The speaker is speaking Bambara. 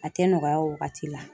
A tɛ nɔgɔya o wagati la.